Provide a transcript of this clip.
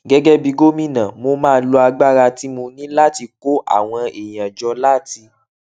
gégé bí gómìnà mo máa lo agbára tí mo ní láti kó àwọn èèyàn jọ láti